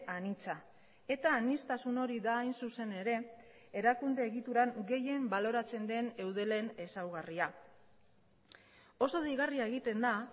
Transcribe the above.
anitza eta aniztasun hori da hain zuzen ere erakunde egituran gehien baloratzen den eudelen ezaugarria oso deigarria egiten da